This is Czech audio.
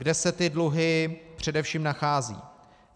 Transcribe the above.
Kde se ty dluhy především nacházejí?